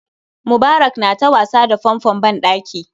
Mubarak na ta wasa da fanfon ban ɗaki